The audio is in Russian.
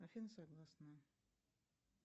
афина согласна